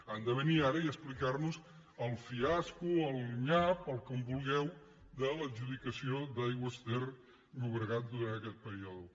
han de venir ara i explicar nos el fiasco el nyap el que vulgueu de l’adjudicació d’aigües ter llobregat durant aquest període